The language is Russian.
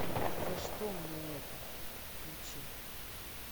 за что мне это включи